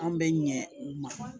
An bɛ ɲɛ u ma